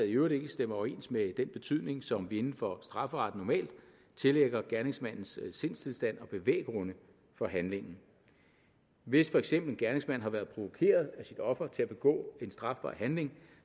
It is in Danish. i øvrigt ikke stemmer overens med den betydning som vi inden for strafferetten normalt tillægger gerningsmandens sindstilstand og bevæggrunde for handlingen hvis for eksempel en gerningsmand har været provokeret af sit offer til at begå en strafbar handling